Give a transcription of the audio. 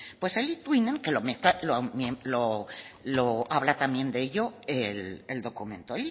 pues el etwinning que habla también de ello el documento